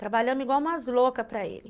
Trabalhamos igual umas loucas para ele.